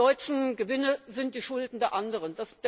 Die deutschen Gewinne sind die Schulden der anderen.